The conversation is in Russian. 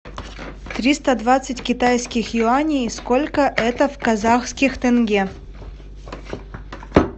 триста двадцать китайских юаней сколько это в казахских тенге